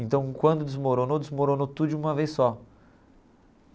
Então, quando desmoronou, desmoronou tudo de uma vez só.